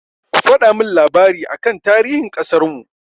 Ku faɗa min labari aka tarihin ƙasarmu!